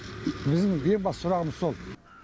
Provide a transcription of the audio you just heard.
біздің ең басты сұрағымыз сол